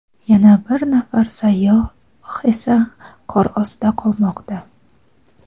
yana bir nafar sayyoh esa qor ostida qolmoqda.